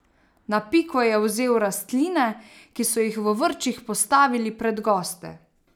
Na piko je vzel rastline, ki so jih v vrčih postavili pred goste.